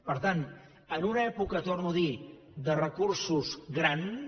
per tant en una època ho torno a dir de recursos grans